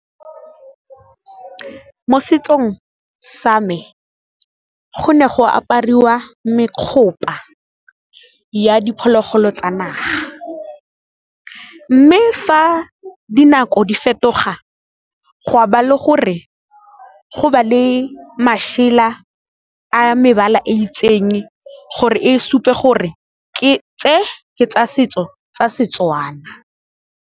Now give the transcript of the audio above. Mo setsong sa me go ne go apariwa mekgopa ya diphologolo tsa naga, mme fa dinako di fetoga gwa ba le gore go ba le mašela a mebala e itseng gore e supe gore tse ke tsa setso tsa Setswana.